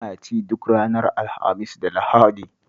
Tana ci duk ranar Alhamis da Lahadi